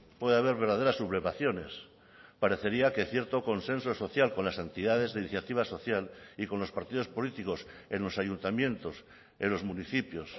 puede haber verdaderas sublevaciones parecería que cierto consenso social con las entidades de iniciativa social y con los partidos políticos en los ayuntamientos en los municipios